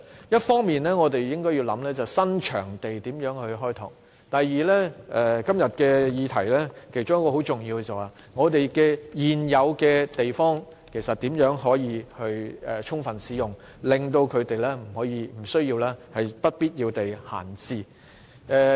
一方面，我們應考慮如何開拓新場地；另一方面，今天議題當中有一點很重要，便是我們如何可以充分使用現有的場地，避免它們不必要地閒置。